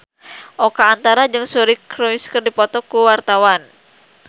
Oka Antara jeung Suri Cruise keur dipoto ku wartawan